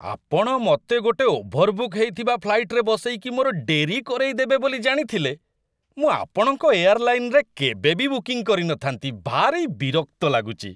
ଆପଣ ମତେ ଗୋଟେ ଓଭରବୁକ୍ ହେଇଥିବା ଫ୍ଲାଇଟ୍‌ରେ ବସେଇକି ମୋର ଡେରି କରେଇଦେବେ ବୋଲି ଜାଣିଥିଲେ, ମୁଁ ଆପଣଙ୍କ ଏୟାରଲାଇନ୍‌ରେ କେବେ ବି ବୁକିଂ କରିନଥାନ୍ତି, ଭାରି ବିରକ୍ତ ଲାଗୁଚି ।